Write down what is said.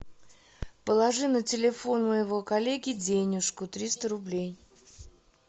положи на телефон моего коллеги денежку триста рублей